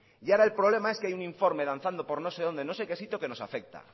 y ahora el problema es que hay un informe danzando por no sé donde no sé qué sitio que nos afecta